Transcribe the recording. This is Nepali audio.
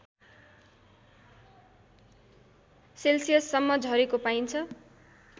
सेल्सियससम्म झरेको पाइन्छ